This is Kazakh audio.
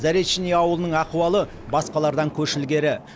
заречный ауылының ахуалы басқалардан көш ілгері